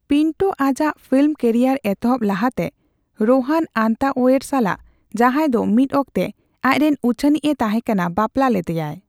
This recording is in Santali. ᱯᱤᱱᱴᱳ ᱟᱡᱟᱜ ᱯᱷᱤᱞᱢ ᱠᱮᱨᱤᱭᱟᱨ ᱮᱛᱚᱦᱚᱵ ᱞᱟᱦᱟᱛᱮ, ᱨᱳᱦᱟᱱ ᱟᱱᱛᱟᱳᱭᱮᱹᱨ ᱥᱟᱞᱟᱜ, ᱡᱟᱦᱟᱸᱭ ᱫᱚ ᱢᱤᱫ ᱚᱠᱛᱮ ᱟᱡ ᱨᱮᱱ ᱩᱪᱷᱟᱹᱱᱤᱡᱼᱮ ᱛᱟᱦᱮᱸᱠᱟᱱᱟ, ᱵᱟᱯᱞᱟ ᱞᱮᱫᱮᱭᱟᱭ ᱾